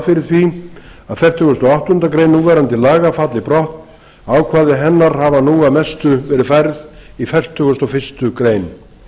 að fertugasta og áttundu grein núverandi laga falli brott ákvæði hennar hafa nú að mestu verið færð í fertugustu og fyrstu grein